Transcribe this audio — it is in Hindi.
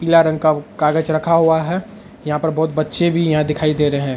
पीला रंग का कागज रखा हुआ है यहाँ पर बहुत बच्चे भी यहाँ दिखाई दे रहे हैं।